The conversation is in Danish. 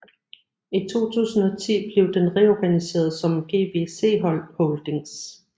I 2010 blev den reorganiseret som GVC Holdings